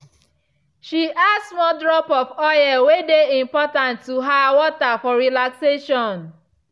she add small drop of oil way dey important to her water for relaxation.